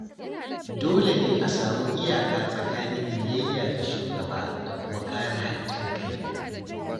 Dole ne a samu iyaka tsakanin biyayya ga shugaba da kuma kare haƙƙin kai.